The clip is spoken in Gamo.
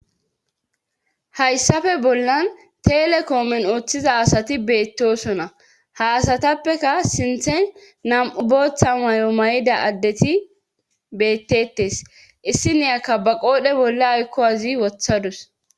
Hayssafe bollan telekoomen ooththiza asati beettosona ha asatappeka sinthen nam'u booththa may'o may'ida addeti bettetes issi niyakka ba qoodhe bolla aykko azi wothadus